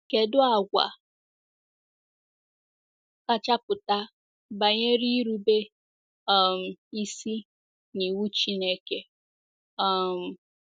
Kedụ àgwà kacha pụta banyere irube um isi n’iwu Chineke? um